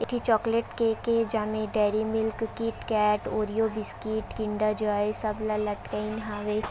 एठी chocolate cake ए जेमे Dairy Milk KitKat Oreo biscuit Kinder Joy सबला लटकाइन हावे।